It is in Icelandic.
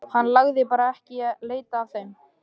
Hann lagði bara ekki í að leita að þeim.